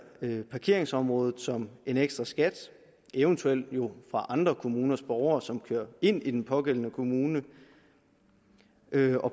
parkeringsområdet som en ekstra skat eventuelt jo fra andre kommuners borgere som kører ind i den pågældende kommune